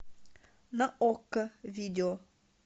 на окко видео